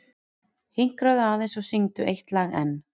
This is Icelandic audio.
Hinkraðu aðeins og syngdu eitt lag enn.